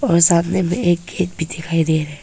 और सामने में एक खेत भी दिखाई दे रहा है।